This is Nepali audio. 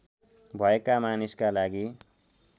भएका मानिसका लागि